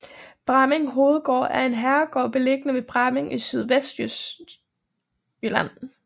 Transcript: Bramming Hovedgård er en herregård beliggende ved Bramming i Sydvestjylland